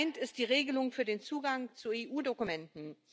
Gemeint ist die Regelung für den Zugang zu EU Dokumenten.